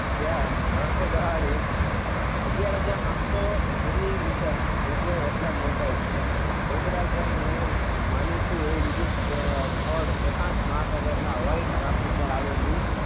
ત્યાં વર્ષે દહાડે અગિયાર હાજર આઠસો જેટલી મીટર વરસાદ નોંધાય છે મેઘરાજાનું માનીતું એવું બીજું સ્થળ પ્રશાંત મહાસાગરના હવાઈ ટાપુ પર આવેલું.